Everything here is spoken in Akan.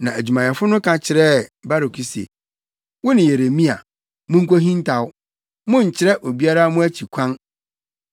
Na adwumayɛfo no ka kyerɛɛ Baruk se, “Wo ne Yeremia, munkohintaw. Monnkyerɛ obiara mo akyi kwan.”